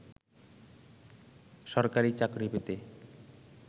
সরকারি চাকরি পেতে